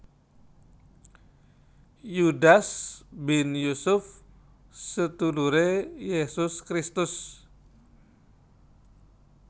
Yudas bin Yusuf seduluré Yesus Kristus